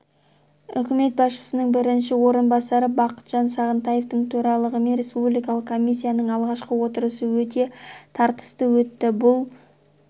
үкімет басшысының бірінші орынбасары бақытжан сағынтаевтың төрағалығымен республикалық комиссияның алғашқы отырысы өте тартысты өтті бұл